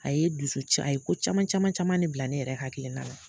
A ye dusu a ye ko caman caman caman de bila ne yɛrɛ hakilina la